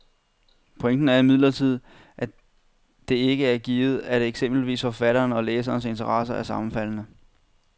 Pointen er imidlertid, at det ikke er givet, at eksempelvis forfatternes og læsernes interesser er sammenfaldende.